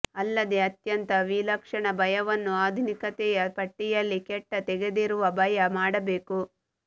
ಅಲ್ಲದೆ ಅತ್ಯಂತ ವಿಲಕ್ಷಣ ಭಯವನ್ನು ಆಧುನಿಕತೆಯ ಪಟ್ಟಿಯಲ್ಲಿ ಕೆಟ್ಟ ತೆಗೆದಿರುವ ಭಯ ಮಾಡಬೇಕು